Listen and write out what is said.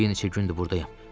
Bir neçə gündür burdayam.